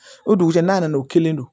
O dugusɛ nan'o kelen don